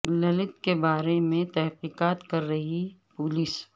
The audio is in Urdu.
للت کے بارے میں تحقیقات کر رہی پولیس